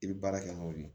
I bɛ baara kɛ n'o ye